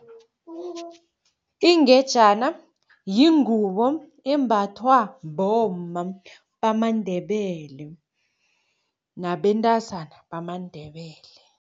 Ingejana yingubo embathwa bomma bamaNdebele nabentazana bamaNdebele.